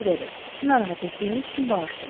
Narahat etdiyimiz üçün bağışlayın.